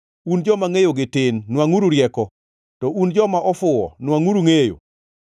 Un joma ngʼeyogi tin, nwangʼuru rieko; to un joma ofuwo, nwangʼuru ngʼeyo.